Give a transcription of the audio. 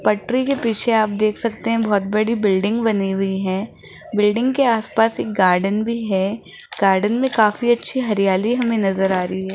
पटरी के पीछे आप देख सकते हैं बहोत बड़ी बिल्डिंग बनी हुई हैं बिल्डिंग के आसपास एक गार्डन भी है गार्डन में काफी अच्छी हरियाली हमें नजर आ रही है।